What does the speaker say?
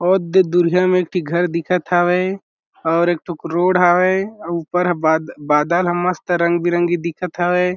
ओ द-दुरहिया में एक ठी घर दिखत हावय और एक ठो रोड हावय ऊपर बाद-बादल ह मस्त रंग-बिरंगी दिखत हावय।